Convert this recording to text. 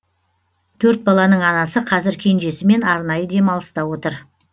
төрт баланың анасы қазір кенжесімен арнайы демалыста отыр